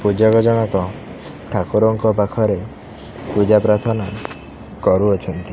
ପୂଜକ ଜଣକ ଠାକୁରଙ୍କ ପାଖରେ ପୂଜା ପ୍ରାର୍ଥନା କରୁଅଛନ୍ତି।